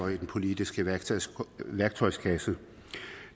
i den politiske værktøjskasse